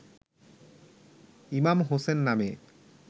ইমাম হোসেন নামে